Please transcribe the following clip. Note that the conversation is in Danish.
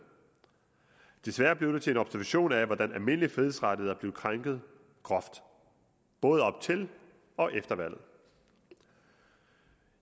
desværre blev det til en observation af hvordan almindelige frihedsrettigheder blev krænket groft både op til og efter valget